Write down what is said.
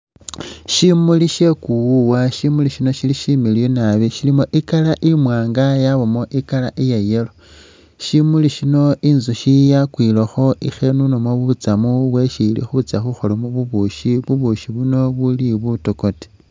Syimuli sye kuwuwa, syimuli syino syili syimiliyu nabi syilimo i'colour imwaanga yabamo i'colour iya yellow. Syimuli syino inzusyi yakwilekho i'khenunamu butsamu bwesi ili khutsya khukholamu bubusyi, bubusyi buno bubuli butokote.